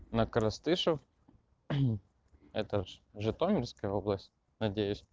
на коростышев это житомирская область надеюсь